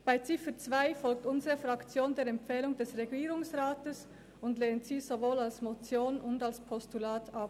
Bei Ziffer 2 folgt unsere Fraktion der Empfehlung des Regierungsrats und lehnt sie sowohl als Motion als auch als Postulat ab.